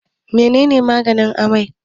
menene maganin amai?